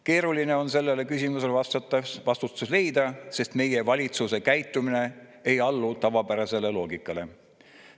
Keeruline on sellele küsimusele vastust leida, sest meie valitsuse käitumine ei allu tavapärasele loogikale.